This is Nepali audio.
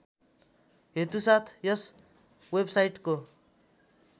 हेतुसाथ यस वेबसाइटको